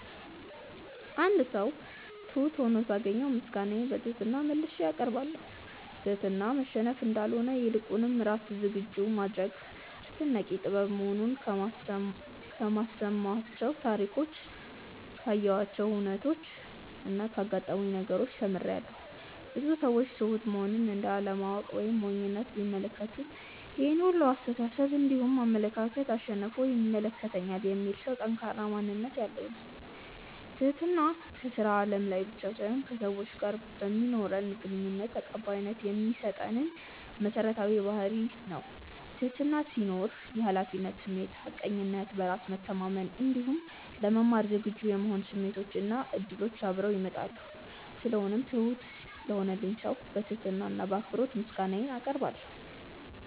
አንድ ሰው ትሁት ሁኖ ሳገኘው ምስጋናዬን በትህትና መልሼ አቀርባለሁ። ትህትና መሸነፍ እንዳልሆነ ይልቁንም ራስን ዝግጁ የማድረግ አስደናቂ ጥበብ መሆኑን ከሰማኋቸው ታሪኮች ካየኋቸው ሁነቾች እና ካጋጠሙኝ ነገሮች ተምሬያለው። ብዙ ሰዎች ትሁት መሆንን እንደ አለማወቅ ወይም ሞኝነት ቢመለከቱትም ይሄን ሁላ አስተሳሰብ እንዲሁም አመለካከት አሸንፎ ይመለከተኛል የሚል ሰው ጠንካራ ማንነት ያለው ነው። ትህትና ከስራ አለም ላይ ብቻ ሳይሆን ከሰዎች ጋር በማኖረን ግንኙነት ተቀባይነት የሚያሰጠን መሰረታዊ ባህርይ ነው። ትህትና ሲኖር የሀላፊነት ስሜት፣ ሀቀኝነት፣ በራስ መተማመን እንዲሁም ለመማር ዝግጁ የመሆን ስሜቶች እና እድሎች አብረውት ይመጣሉ። ስለሆነው ትሁት ለሆነልኝ ሰው በትህትና እና በአክብሮት ምስጋናዬን አቀርባለሁ።